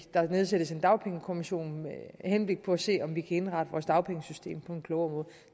der nedsættes en dagpengekommission med henblik på at se om vi kan indrette vores dagpengesystem på en klogere måde